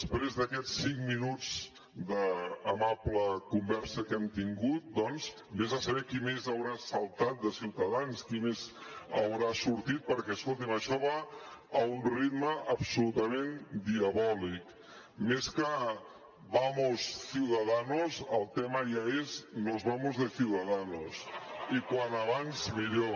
prés d’aquests cinc minuts d’amable conversa que hem tingut doncs ves a saber qui més haurà saltat de ciutadans qui més haurà sortit perquè escolti’m això va a un ritme absolutament diabòlic més que vamos ciudadanos el tema ja és mos de ciudadanos i com més aviat millor